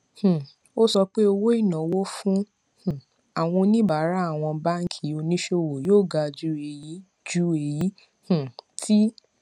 um ó sọ pé owó ìnáwó fún um àwọn oníbàárà àwọn báńkì oníṣòwò yóò ga ju èyí ju èyí um tí